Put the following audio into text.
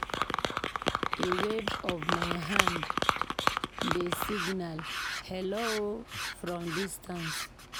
A wave of my hand dey signal "hello" from a distance.